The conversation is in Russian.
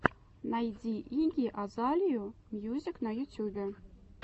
найди игги азалию мьюзик на ютюбе